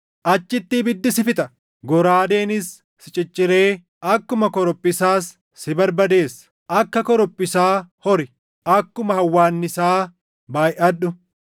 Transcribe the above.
Achitti ibiddi si fixa; goraadeenis si cicciree akkuma korophisaas si barbadeessa. Akka korophisaa hori; akkuma hawwaannisaa baayʼadhu.